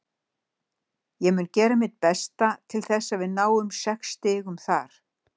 Ég mun gera mitt besta til þess að við náum sex stigum þar.